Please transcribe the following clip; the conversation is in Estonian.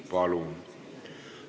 Palun!